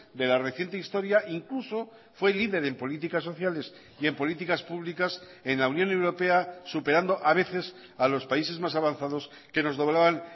de la reciente historia incluso fue líder en políticas sociales y en políticas públicas en la unión europea superando a veces a los países más avanzados que nos doblaban